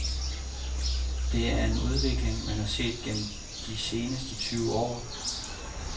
Det er en udvikling, man har set gennem de seneste tyve år.